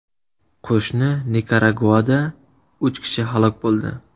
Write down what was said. Qo‘shni Nikaraguada uch kishi halok bo‘ldi.